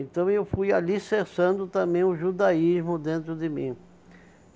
Então eu fui alicerçando também o judaísmo dentro de mim.